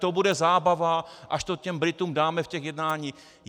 To bude zábava, až to těm Britům dáme v těch jednáních.